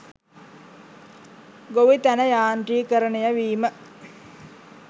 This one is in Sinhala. ගොවිතැන යාන්ත්‍රීකරණය වීම